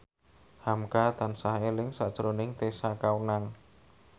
hamka tansah eling sakjroning Tessa Kaunang